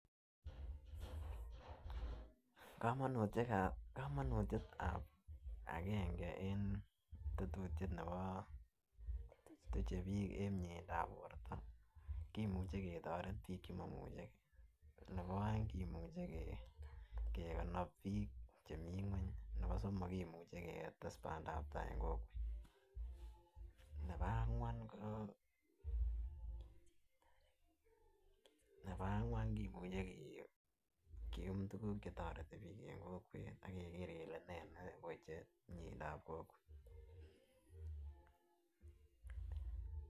Komonutikab komonutyetab agenge en tetutyet nebo tuche bik en miendap borto kimuche ketoret bik chemoimuchegee, nebo oeng komuche kekonob bik chemii ngweny, nebo somok kimuche ketes pandap tai en kokwet. Nebo angwan ko nebo angwan kimuche kium tukuk chetoreti bik en kokwet ak ak keger kele nee neweche miendap kokwet.